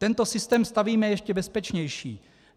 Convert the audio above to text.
Tento systém stavíme ještě bezpečnější.